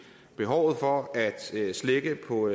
behovet for at slække på